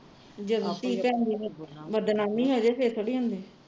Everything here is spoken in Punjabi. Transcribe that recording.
ਬਦਨਾਮੀ ਥੋੜੀ